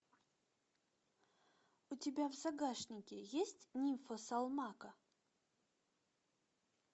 у тебя в загашнике есть нимфа салмака